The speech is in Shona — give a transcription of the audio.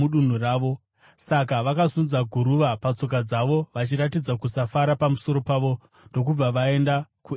Saka vakazunza guruva patsoka dzavo vachiratidza kusafara pamusoro pavo ndokubva vaenda kuIkoniamu.